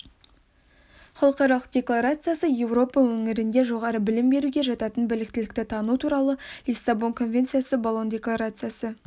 халықаралық декларациясы еуропа өңірінде жоғары білім беруге жататын біліктілікті тану туралы лиссабон конвенциясы болон декларациясы